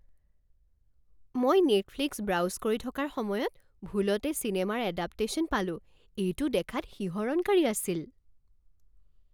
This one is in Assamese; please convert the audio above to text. মই নেটফ্লিক্স ব্ৰাউজ কৰি থকাৰ সময়ত ভুলতে চিনেমাৰ এডাপটেশ্যন পালো। এইটো দেখাত শিহৰণকাৰী আছিল!